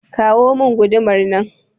kawo min gudumar nan